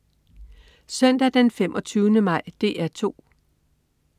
Søndag den 25. maj - DR 2: